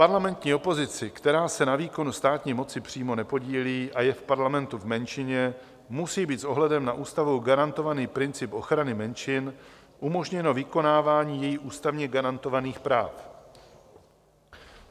Parlamentní opozici, která se na výkonu státní moci přímo nepodílí a je v parlamentu v menšině, musí být s ohledem na ústavou garantovaný princip ochrany menšin umožněno vykonávání jejích ústavně garantovaných práv.